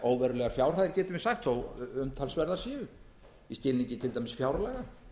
óverulegar fjárhæðir getum við sagt þó að umtalsverðar séu í skilningi fjárlaga